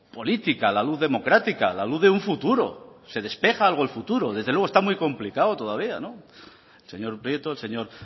política la luz democrática la luz de un futuro se despeja algo el futuro desde luego está muy complicado todavía el señor prieto el señor